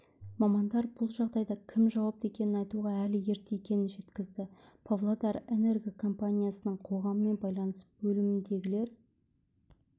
мамандар бұл жағдайға кім жауапты екенін айтуға әлі ерте екенін жеткізді павлодарэнерго компаниясының қоғаммен байланыс бөліміндегілер